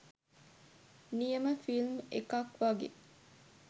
නියම ෆිල්ම් එකක් වගේ